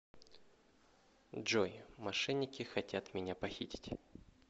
джой мошенники хотят меня похитить